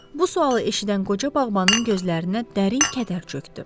Bu sualı eşidən qoca bağbanın gözlərinə dərin kədər çökdü.